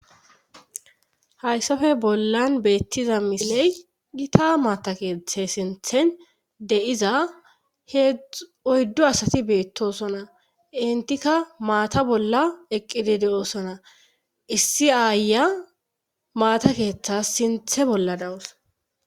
Hayssafe bollan beettiza misiley gita maata keeththe sinthen de7iza he oyddo asati beettosona intikka maata bolla eqqidi de7osona issi aaya maata keeththas sinthe bolla dawus.